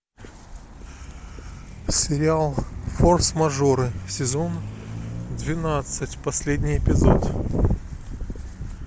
сериал форс мажоры сезон двенадцать последний эпизод